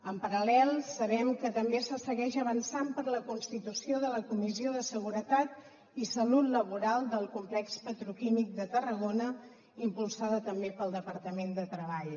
en paral·lel sabem que també se segueix avançant per la constitució de la comissió de seguretat i salut laboral del complex petroquímic de tarragona impulsada també pel departament de treball